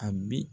A bi